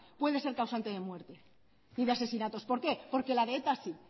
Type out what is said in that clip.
puede ser causante de muerte y de asesinatos por qué porque la de eta sí